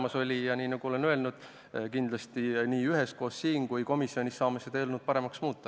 Aga nagu ma juba olen öelnud, saame kindlasti nii üheskoos siin kui ka komisjonis seda eelnõu paremaks muuta.